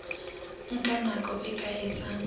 nka nako e ka etsang